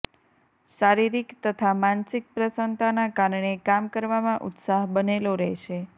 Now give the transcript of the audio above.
શારિરીક તથા માનસિક પ્રસન્નતાના કારણે કામ કરવામાં ઉત્સાહ બનેલો રહેશે